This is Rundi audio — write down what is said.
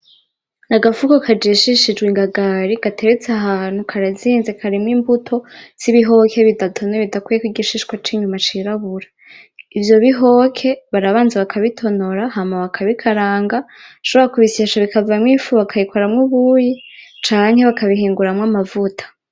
Agafuko kajishishijwe ingagari gateretse ahantu. Karazinze karimwo imbuto z'ibihoke bidatonoye bidakuyeko igishishwa c'inyuma cirabura. Ivyo bihoke barabanza bakabitonora hama bakabikaranga. Bashobora kubishyesha bikavamwo ifu bakabikoramwo ubuyi canke bakabihinguramwo amavuta.